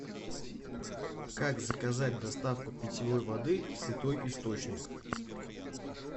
как заказать доставку питьевой воды святой источник